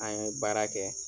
An ye baara kɛ